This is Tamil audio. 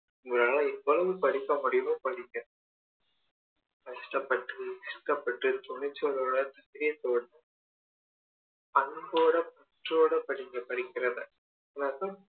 உங்களால எவ்வளோ படிக்க முடியுமோ படிங்க கஷ்டப்பட்டு துக்கப்பட்டு துணிச்சலோட மன தைரியத்தோட அன்போட பற்றோட படிங்க படிக்கிறவங்க எல்லாருக்கும்